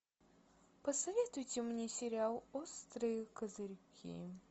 посоветуйте мне сериал острые козырьки